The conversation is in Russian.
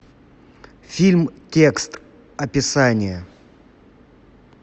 фильм текст описание